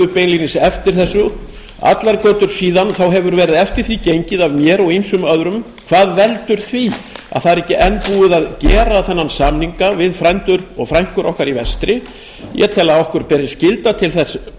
beinlínis eftir þessu allar götur síðan hefur verið eftir því gengið að mér og ýmsum öðrum hvað veldur því að ekki er enn búið að gera þennan samning við frændur og frænkur okkar í vestri ég tel að okkur beri skylda til þess